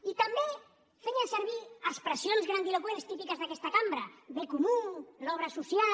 i també feien servir expressions grandiloqüents típiques d’aquesta cambra bé comú l’obra social